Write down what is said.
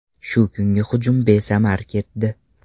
Shu kungi hujum besamar ketdi.